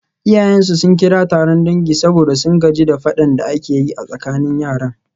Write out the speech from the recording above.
Iyayensu sun kira taron dangi saboda sun gaji da fadan da ake yi a tsakanin yaran.